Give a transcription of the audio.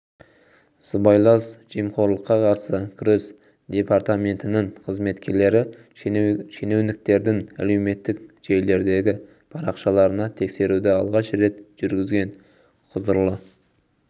сыбайлас жемқорлыққа қарсы күрес департаментінің қызметкерлері шенеуніктердің әлеуметтік желілердегі парақшаларына тексеруді алғаш рет жүргізген құзырлы